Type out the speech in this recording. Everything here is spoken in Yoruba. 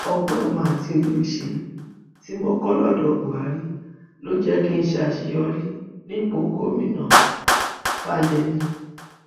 ọgbọn ìmọ àti òye òṣèlú tí mo kọ lọdọ buhari ló jẹ kí n ṣàṣeyọrí nípò gómìnàfàyèmi